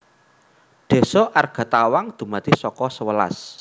Désa Argatawang dumadi saka sewelas